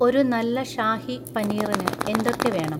ഒരു നല്ലഷാഹി പനീറിന് എന്തൊക്കെ വേണം